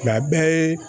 Nka a bɛɛ ye